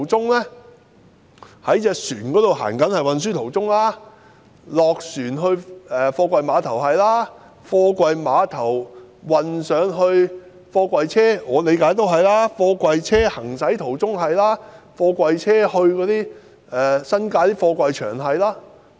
據我理解，這包括船隻航行途中、下船後運送到貨櫃碼頭、由貨櫃碼頭運送到貨櫃車、貨櫃車行駛途中，以及貨櫃車前往新界的貨櫃場。